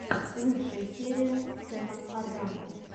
лучшая серия сэма аррага